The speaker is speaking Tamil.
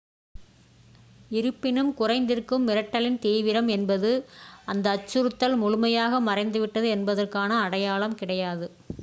இருப்பினும் குறைந்திருக்கும் மிரட்டலின் தீவிரம் என்பது அந்த அச்சுறுத்தல் முழுமையாக மறைந்துவிட்டது என்பதற்கான அடையாளம் கிடையாது